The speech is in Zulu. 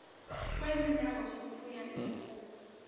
kwezindawo zokufuya izinkukhu